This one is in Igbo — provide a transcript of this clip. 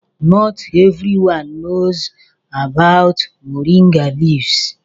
Not everyone knows about moringa leaves.